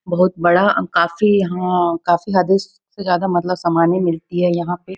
बहुत बड़ा काफ़ी यहाँ काफ़ी हद से ज़्यादा मतलब सामाने मिलती हैं यहाँ पे--